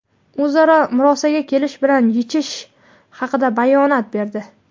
o‘zaro murosaga kelish bilan yechish haqida bayonot berdi.